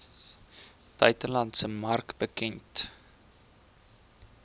buitelandse mark bekend